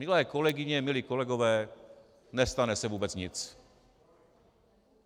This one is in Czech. Milé kolegyně, milí kolegové, nestane se vůbec nic.